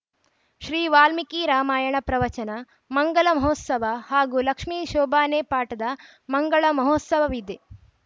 ಶ್ರೀ ವಾಲ್ಮೀಕಿ ರಾಮಾಯಣ ಪ್ರವಚನ ಮಂಗಲ ಮಹೋತ್ಸವ ಹಾಗೂ ಲಕ್ಷ್ಮಿ ಶೋಭಾನೆ ಪಾಠದ ಮಂಗಳ ಮಹೋತ್ಸವವಿದೆ